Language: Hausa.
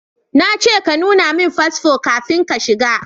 Na ce ka nuna min fasfo kafin ka shiga